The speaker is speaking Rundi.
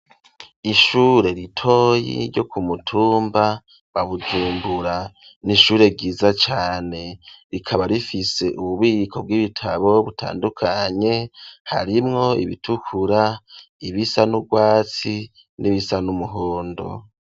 Ishure ritoyi ryo ku mutumba wa Bujumbura n'ishure ryiza cane rikaba rifise ububiko bw'ibitabo butandukanye harimwo ibitukura ibisa n'urwatsi nibisa n'umuhondo.